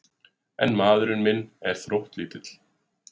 En maðurinn minn er þróttlítill.